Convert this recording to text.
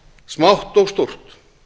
smátt og stórt